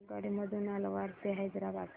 आगगाडी मधून अलवार ते हैदराबाद